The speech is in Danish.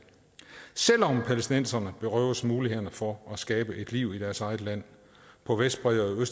selv om palæstinenserne berøves mulighederne for at skabe et liv i deres eget land på vestbredden og